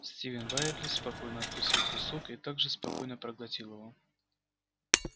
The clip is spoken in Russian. стивен байерли спокойно откусил кусок и так же спокойно проглотил его